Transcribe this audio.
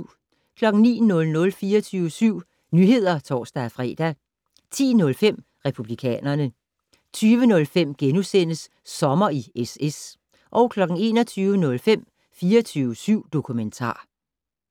09:00: 24syv Nyheder (tor-fre) 10:05: Republikanerne 20:05: Sommer i SS * 21:05: 24syv dokumentar